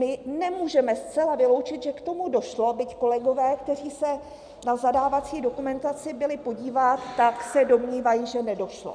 My nemůžeme zcela vyloučit, že k tomu došlo, byť kolegové, kteří se na zadávací dokumentaci byli podívat, tak se domnívají, že nedošlo.